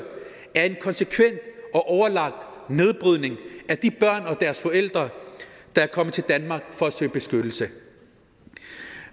er en konsekvent og overlagt nedbrydning af de børn og deres forældre der er kommet til danmark for at søge beskyttelse